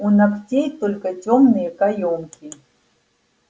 у ногтей только тёмные каёмки